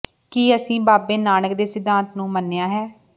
ਕੀ ਅਸੀਂ ਬਾਬੇ ਨਾਨਕ ਦੇ ਸਿਧਾਂਤ ਨੂੰ ਮੰਨਿਆ ਹੈ